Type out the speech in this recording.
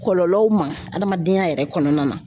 Kɔlɔlɔw ma, adamadenya yɛrɛ kɔnɔna na